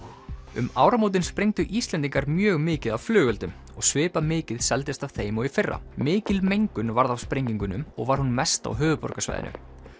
um áramótin sprengdu Íslendingar mjög mikið af flugeldum og svipað mikið seldist af þeim og í fyrra mikil mengun varð af sprengingunum og var hún mest á höfuðborgarsvæðinu